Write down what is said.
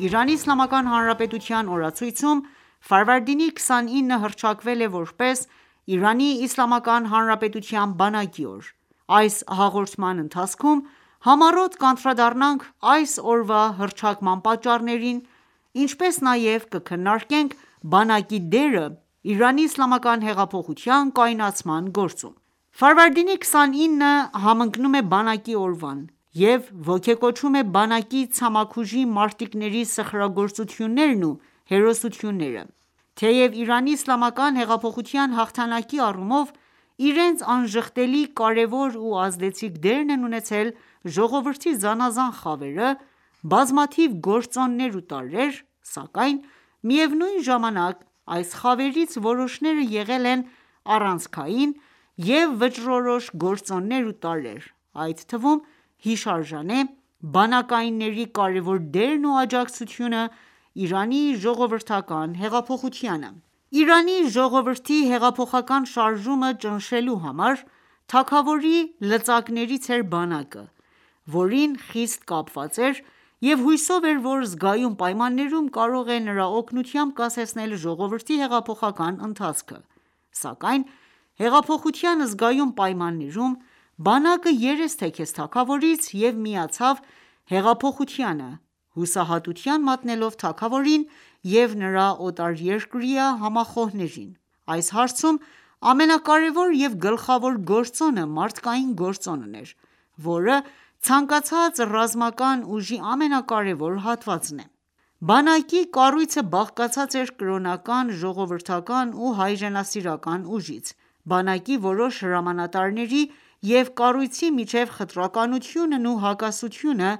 Իրանի Իսլամական Հանրապետության օրացույցում, 29-ը հռչակվել է, որպես Իրանի Իսլամական Հանրապետության բանակի օր։ Այս հաղորդման ընթացքում համառոտ կանդրադառնանք այս օրվա հռչակման պատճառներին, ինչպես նաև կքննարկենք բանակի դերը՝ Իրանի իսլամական հեղափոխության կայունացման գործում։ 29-ը համընկնում է Բանակի օրվան և ոգեկոչում է բանակի ցամաքուժի մարտիկների սխրագործություններն ու հերոսությունները :Թեև Իրանի Իսլամական հեղափոխության հաղթանակի առումով իրենց անժխտելի, կարևոր ու ազդեցիկ դերն են ունեցել ժողովրդի զանազան խավերը, բազմաթիվ գործոններ ու տարրեր, սակայն միևնույն ժամանակ այս խավերից որոշները եղել են առանցքային և վճռորոշ գործոններ ու տարրեր, այդ թվում հիշարժան է բանակայինների կարեւոր դերն ու աջակցությունն Իրանի ժողովրդական հեղափոխությանը։ Իրանի ժողովրդի հեղափոխական շարժումը ճնշելու համար, թագավորի լծակներից էր բանակը ,որին խիստ կապված էր և հույսով էր ,որ զգայուն պայմաններում կարող է նրա օգնությամբ կասեցնել ժողովրդի հեղափոխական ընթացքը, սակայն հեղափոխության զգայուն պայմաններում, բանակը երես թեքեց թագավորից և միացավ հեղափոխությանը, հուսահատության մատնելով թագավորին և նրա օտարերկրյա համախոհներին։ Այս հարցում ամենակարեւոր եւ գլխավոր գործոնը մարդկային գործոնն էր, որը ցանկացած ռազմական ուժի ամենակարեւոր հատվածն է։Բանակի կառույցը բաղկացած էր կրոնական, ժողովրդական ու հայրենասիրական ուժից։ Բանակի որոշ հրամանատարների և կառույցի միջև խտրականությունն ու հակասությունը,